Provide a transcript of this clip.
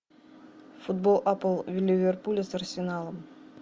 футбол апл ливерпуля с арсеналом